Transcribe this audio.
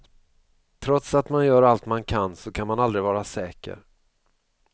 Trots att man gör allt man kan så kan man aldrig vara säker.